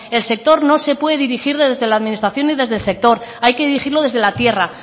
el sector no se puede dirigir desde la administración y desde el sector hay que dirigirlo desde la tierra